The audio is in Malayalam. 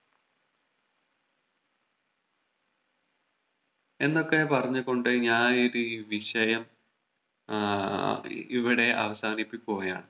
എന്നൊക്കെ പറഞ്ഞു കൊണ്ട് ഞാൻ ഇത് ഈ വിഷയം ഏർ ഇവിടെ അവസാനിപ്പിക്കുകയാണ്